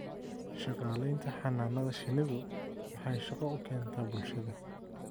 Shaqaalaynta - Xannaanada shinnidu waxay shaqo u keentaa bulshada.